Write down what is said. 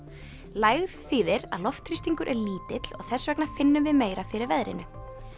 lægð þýðir að loftþrýstingur er lítill og þess vegna finnum við meira fyrir veðrinu